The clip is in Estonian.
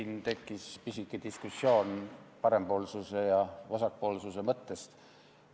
Siin tekkis pisike diskussioon parempoolsuse ja vasakpoolsuse mõtte üle.